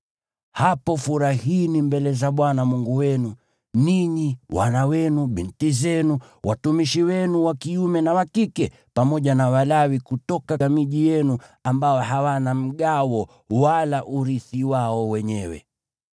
Hapo furahini mbele za Bwana Mungu wenu, ninyi, wana wenu na binti zenu, watumishi wenu wa kiume na wa kike, pamoja na Walawi kutoka miji yenu ambao hawana mgawo wala urithi wao wenyewe.